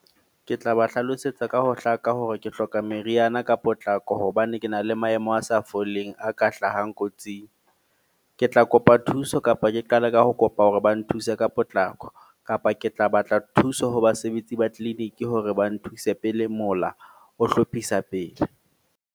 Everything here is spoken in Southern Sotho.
Ke tla ba hlalosetsa ka ho hlaka hore ke hloka meriana ka potlako. Hobane ke na le maemo a sa foleng, a ka hlahang kotsing. Ke tla kopa thuso kapa ke qale ka ho kopa hore ba nthuse ka potlako. Kapa ke tla batla thuso ho basebetsi ba clinic hore ba nthuse pele mola o hlophisa pele.